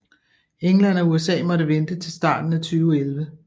England og USA måtte vente til starten af 2011